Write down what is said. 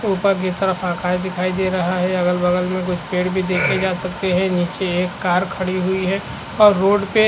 ऊपर की तरफ आकाश दिखाई दे रहा है अगल - बगल में कुछ पेड़ भी देखे जा सकते हैं नीचे एक कार खड़ी हुई है और रोड पे --